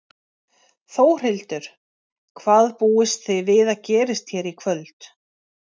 Þórhildur: Hvað búist þið við að gerist hérna í kvöld?